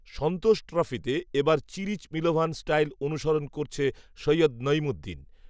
সন্তোষ ট্রফিতে এ বার চিরিচ মিলোভান স্টাইল অনুসরণ করছে সৈয়দ নঈমুদ্দিন